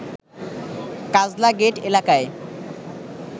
Kajla gate এলাকায়